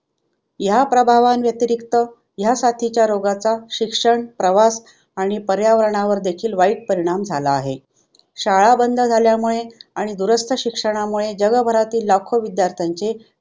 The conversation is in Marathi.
ह्या प्रभावांव्यतिरिक्त ह्या साथीच्या रोगाचा शिक्षण, प्रवास आणि पर्यावरणावर देखील वाईट परिणाम झाला आहे. शाळा बंद झाल्यामुळे आणि दुरास्त शिक्षणामुळे जगाभरातील लाखों विद्यार्थ्यांचे